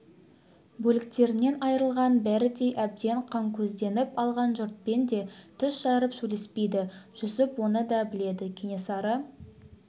бөлтіріктерінен айырылған бөрідей әбден қанкөзденіп алған жұртпен де тіс жарып сөйлеспейді жүсіп оны да біледі кенесары